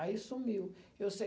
Aí sumiu. Eu sei.